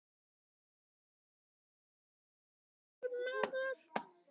Með þeim er smávaxinn og digur maður.